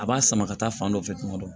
A b'a sama ka taa fan dɔ fɛ tuma dɔ